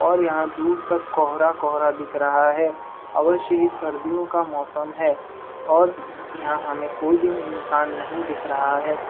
और यहाँ दूर तक कोहरा -कोहरा दिख रहा है। अवश्य ही सर्दियों का मोसम है और यहाँ हमें कोई भी इंसान नहीं दिख रहा है।